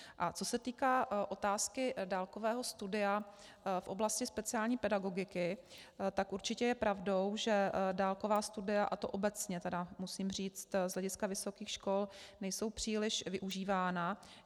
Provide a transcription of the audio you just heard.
A co se týká otázky dálkového studia v oblasti speciální pedagogiky, tak určitě je pravdou, že dálková studia, a to obecně, musím říct, z hlediska vysokých škol nejsou příliš využívána.